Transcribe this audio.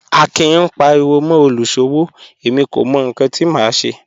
Akin ń paríwọ́ mọ́ olúṣọ́wọ́, ẹ̀mí kò mọ̀ níkan tí mà ṣé